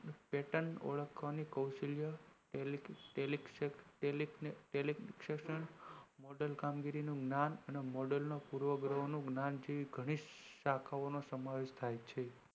pattern ઓળખવાનું કૌશલ્ય model કામગીરીનું જ્ઞાન